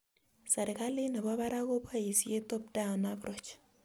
Serikalit nebo barak koboisie top-down approach